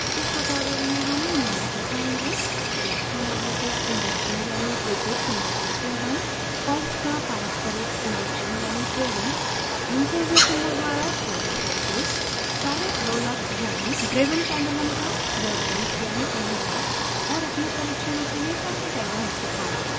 इस tutorial में हम निम्न दिखायेंगे: